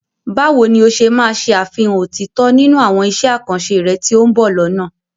Báwo ni o ṣe máa ṣe àfihàn òtítọ́ nínú àwọn iṣẹ́ àkànṣe rẹ tí ó ń bọ̀ lọ́nà?